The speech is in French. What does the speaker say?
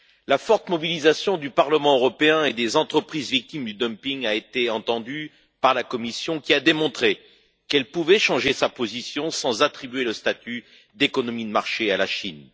La forte mobilisation du Parlement européen et des entreprises victimes du dumping a été entendue par la Commission, qui a démontré qu'elle pouvait changer sa position sans attribuer le statut d'économie de marché à la Chine.